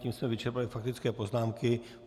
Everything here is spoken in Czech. Tím jsme vyčerpali faktické poznámky.